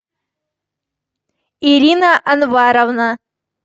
ирина анваровна